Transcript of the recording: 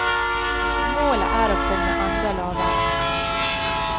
Målet er å komme enda lavere.